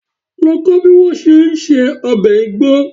Lọ kó bí wọ́n ṣe ń se ọbẹ̀ Igbo.